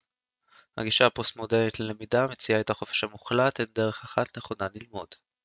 הגישה הפוסט-מודרנית ללמידה מציעה את החופש המוחלט אין דרך אחת נכונה ללמוד